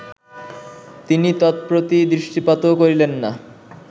তিনি তৎপ্রতি দৃষ্টিপাতও করিলেন না